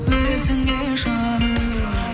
өзіңе жаным